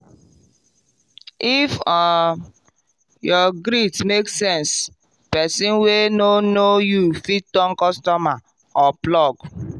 if um your greet make sense person wey no know you fit turn customer or plug.